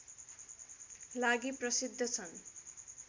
लागि प्रसिद्ध छन्